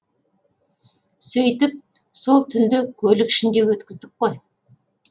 сөйтіп сол түнді көлік ішінде өткіздік қой